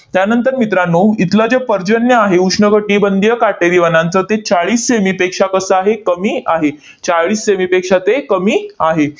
त्यानंतर मित्रांनो, इथलं जे पर्जन्य आहे उष्ण कटिबंधीय काटेरी वनांचं, ते चाळीस से. मी. पेक्षा कसं आहे? कमी आहे. चाळीस से. मी. पेक्षा ते कमी आहे.